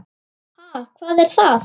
Ha, hvað er það?